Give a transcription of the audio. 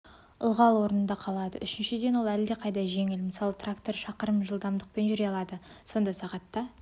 ылғал орнында қалады үшіншіден ол әлдеқайда жеңіл мысалы тракторы шақырым жылдамдықпен жүре алады сонда сағатта